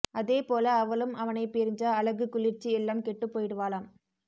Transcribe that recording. அதேபோல அவளும் அவனைப் பிரிஞ்சா அழகு குளிர்ச்சி எல்லாம் கெட்டுப் போயிடுவாளாம்